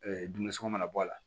dumunisɔngɔ mana bɔ a la